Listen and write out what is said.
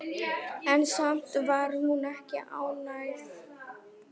En samt var hún ekki ánægð.